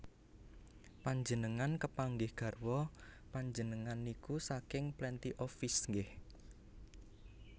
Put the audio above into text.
Panjenengan kepanggih garwa panjenengan niku saking Plenty of Fish nggeh